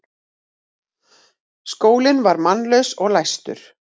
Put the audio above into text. Skólinn var mannlaus og læstur.